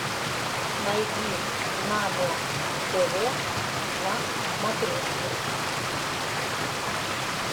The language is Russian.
найди нано тв на смотрешке